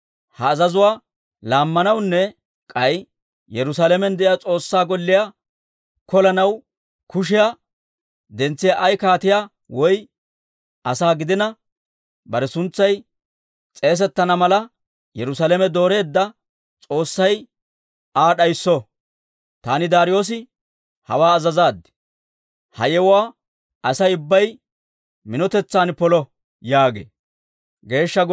Ha azazuwaa laammanawunne k'ay Yerusaalamen de'iyaa S'oossaa Golliyaa kolanaw kushiyaa dentsiyaa ay kaatiyaa woy asaa gidina, bare suntsay s'eesettana mala Yerusaalame dooreedda S'oossay Aa d'aysso. Taani Daariyoosi hawaa azazaad. Ha yewuwaa Asay ubbay minotetsan polo» yaagee.